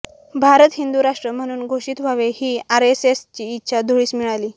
भारत हिंदू राष्ट्र म्हणून घोषित व्हावे ही आरएसएसची इच्छा धुळीस मिळाली